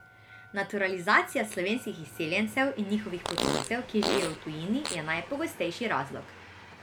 Naturalizacija slovenskih izseljencev in njihovih potomcev, ki živijo v tujini, je najpogostejši razlog.